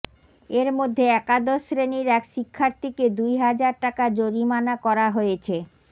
এর মধ্যে একাদশ শ্রেণির এক শিক্ষার্থীকে দুই হাজার টাকা জরিমানা করা হয়েছে